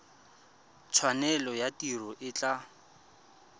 tshwanelo ya tiro e tla